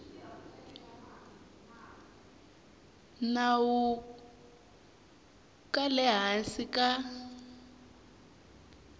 nawu ka le hansi ka